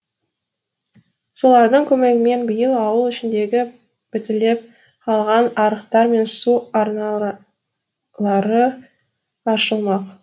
солардың көмегімен биыл ауыл ішіндегі бітелеп қалған арықтар мен су арналары аршылмақ